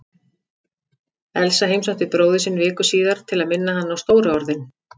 Elsa heimsótti bróður sinn viku síðar til að minna hann á stóru orðin.